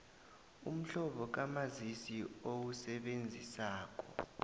umhlobo kamazisi owusebenzisako